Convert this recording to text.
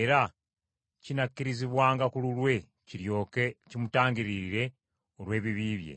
era kinakkirizibwanga ku lulwe kiryoke kimutangiririre olw’ebibi bye.